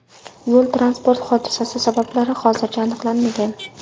Yo‘l-transport hodisasi sabablari hozircha aniqlanmagan.